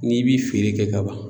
N'i bi feere kɛ ka ban